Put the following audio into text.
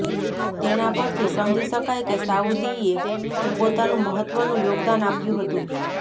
તેના પરથી સમજી શકાય કે સાઉદીએ પણ પોતાનું મહત્વનું યોગદાન આપ્યું હતું